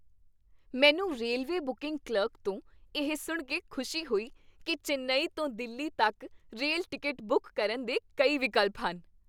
ਮੈਨੂੰ railway booking clerk ਤੋਂ ਇਹ ਸੁਣ ਕੇ ਖੁਸ਼ੀ ਹੋਈ ਕੀ ਚੇਨਈ ਤੋਂ ਦਿੱਲੀ ਤੱਕ ਰੇਲ ਟਿਕਟ ਬੁੱਕ ਕਰਨ ਦੇ ਕਈ ਵਿਕਲਪ ਹਨ।